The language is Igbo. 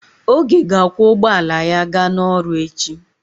Oge ga-akwọ ụgbọala ya ga n'ọrụ echi.